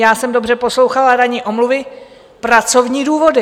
já jsem dobře poslouchala - ranní omluva - pracovní důvody.